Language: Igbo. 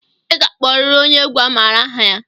I ga-akpọrịrị onye egwu a maara aha ya!